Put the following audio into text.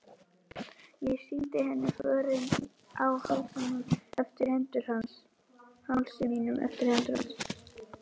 Ég sýndi henni förin á hálsi mínum eftir hendur hans.